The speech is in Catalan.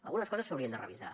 algunes coses s’haurien de revisar